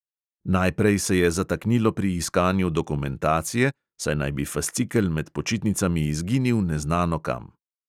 Najprej se je zataknilo pri iskanju dokumentacije, saj naj bi fascikel med počitnicami izginil neznano kam.